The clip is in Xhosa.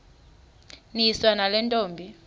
niswa nale ntombi